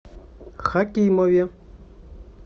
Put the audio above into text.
хакимове